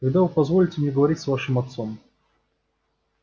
когда вы позволите мне поговорить с вашим отцом